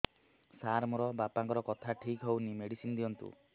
ସାର ମୋର ବାପାଙ୍କର କଥା ଠିକ ହଉନି ମେଡିସିନ ଦିଅନ୍ତୁ